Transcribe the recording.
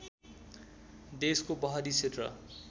देशको पहाडी क्षेत्र